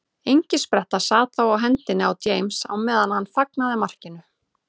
Engispretta sat þá á hendinni á James á meðan hann fagnaði markinu.